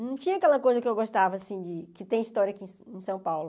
Não tinha aquela coisa que eu gostava, assim, que tem história aqui em São Paulo.